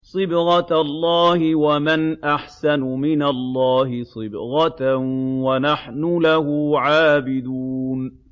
صِبْغَةَ اللَّهِ ۖ وَمَنْ أَحْسَنُ مِنَ اللَّهِ صِبْغَةً ۖ وَنَحْنُ لَهُ عَابِدُونَ